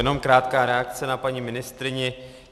Jenom krátká reakce na paní ministryni.